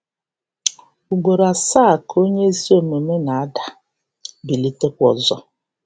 Ugboro asaa ka onye ezi omume na-ada, bilitekwa ọzọ.